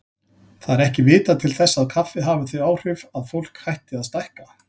Það er ekki vitað til þess kaffi hafi þau áhrif að fólk hætti að stækka.